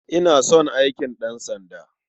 Ina son aikin ɗansanda.